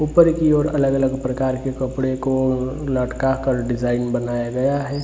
ऊपर की और अलग अलग प्रकार के कपड़े को लटका कर डिज़ाइन बनाया गया है।